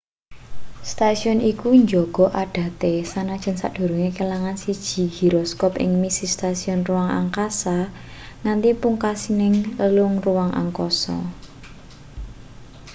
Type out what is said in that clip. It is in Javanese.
stasiun iku njaga adate sanajan sadurunge kelangan siji giroskop ing misi stasiun ruang angkasa nganti pungkasaning lelungan ruang angkasa